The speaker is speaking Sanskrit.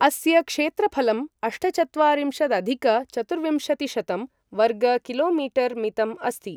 अस्य क्षेत्रफलं अष्टचत्वारिंशदधिक चतुर्विंशतिशतं वर्गकिलोमीटर् मितम् अस्ति।